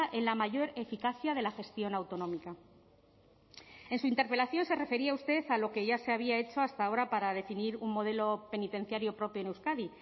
en la mayor eficacia de la gestión autonómica en su interpelación se refería usted a lo que ya se había hecho hasta ahora para definir un modelo penitenciario propio en euskadi